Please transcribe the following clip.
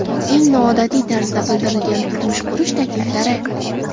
Eng noodatiy tarzda bildirilgan turmush qurish takliflari .